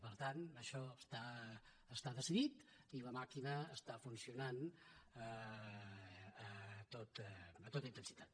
per tant això està decidit i la màquina està funcionant a tota intensitat